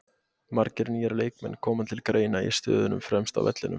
Margir nýir leikmenn koma til greina í stöðunum fremst á vellinum.